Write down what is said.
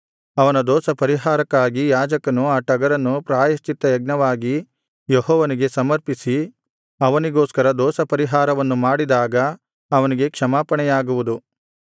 ಅವನ ದೋಷಪರಿಹಾರಕ್ಕಾಗಿ ಯಾಜಕನು ಆ ಟಗರನ್ನು ಪ್ರಾಯಶ್ಚಿತ್ತಯಜ್ಞವಾಗಿ ಯೆಹೋವನಿಗೆ ಸಮರ್ಪಿಸಿ ಅವನಿಗೋಸ್ಕರ ದೋಷಪರಿಹಾರವನ್ನು ಮಾಡಿದಾಗ ಅವನಿಗೆ ಕ್ಷಮಾಪಣೆಯಾಗುವುದು